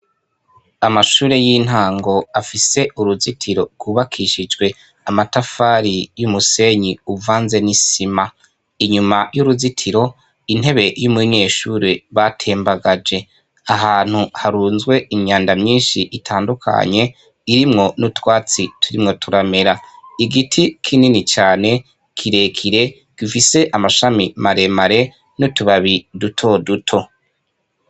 Amashure y'intango afise uruzitiro rwubakishijwe amatafari y'umusenyi uvanze n'isima. Inyuma y'uruzitiro, intebe y'umunyeshure batembagaje. Ahantu harunzwe inyandama nyinshi itandukanye, irimwo n'utwatsi turimwo turamera. Igiti kinini cane, kire kire, gifise amashami mare mare n'utubabi duto duto.